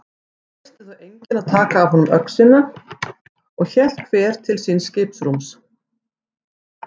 Treystist þá enginn að taka af honum öxina og hélt hver til síns skipsrúms.